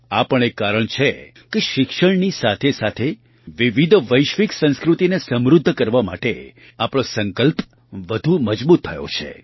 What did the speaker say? આ પણ એક કારણ છે કે શિક્ષણની સાથેસાથે વિવિધ વૈશ્વિક સંસ્કૃતિને સમૃદ્ધ કરવા માટે આપણો સંકલ્પ વધુ મજબૂત થયો છે